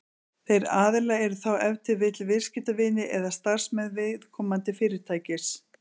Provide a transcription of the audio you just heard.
þeir aðilar eru þá ef til vill viðskiptavinir eða starfsmenn viðkomandi fyrirtækis